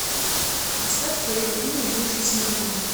поставь твое имя миши смирнова